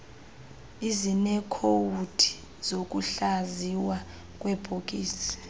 ezineekhowudi zokuhlaziywa kweebhokisi